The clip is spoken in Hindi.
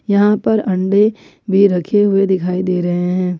यहां पर अंडे भी रखे हुए दिखाई दे रहे हैं।